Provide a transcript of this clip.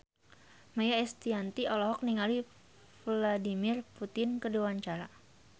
Maia Estianty olohok ningali Vladimir Putin keur diwawancara